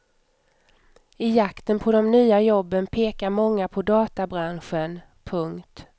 I jakten på de nya jobben pekar många på databranschen. punkt